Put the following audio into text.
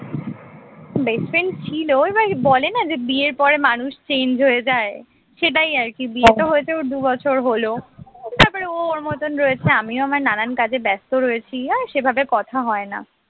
best friend ছিল এবার বলেনা যে বিয়ের পরে মানুষ change হয়ে যায় সেটাই আরকি বিয়েতো হয়েছে ওর দুই বছর হল তারপর ও ওর মতন রয়েছে আমিও আমার নানান কাজে ব্যস্ত রয়েছি আর সেভাবে আর কথা হয় না